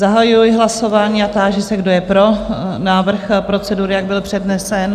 Zahajuji hlasování a táži se, kdo je pro návrh procedury, jak byl přednesen?